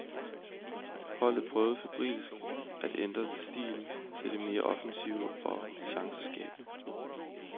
Holdet prøvede febrilsk at ændre stil til det mere offensive og chanceskabende.